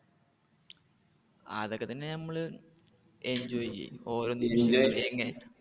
ആ അതെക്കെ തന്നെ നമ്മള് enjoy ചെയ്യും ഓരോ നിമിഷവും.